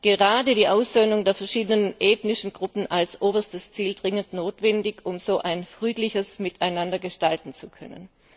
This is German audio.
gerade die Aussöhnung der verschiedenen ethnischen Gruppen als oberstes Ziel dringend notwendig, um so ein friedliches Miteinander gestalten zu können.